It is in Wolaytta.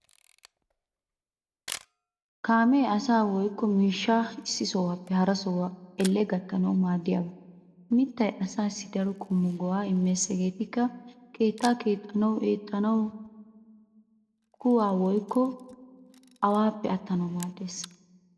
Kaamee asaa woykko miishshaa issi sohuwappe hara sohuwaa elle gattanaawu maaddiyaaba. Mittay asaassi daro qommo go'aa immees hegeetikka:- keettaa keexxanawu, eettanawunne kuwaa woykko awaappe attanawu maaddees.